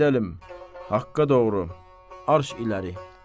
Gedəlim! Haqqa doğru arş irəli!